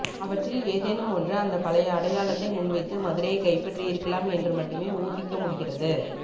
அவற்றில் ஏதேனும் ஒன்று அந்த பழைய அடையாளத்தை முன்வைத்து மதுரையைக் கைப்பற்றியிருக்கலாம் என்று மட்டுமே ஊகிக்கமுடிகிறது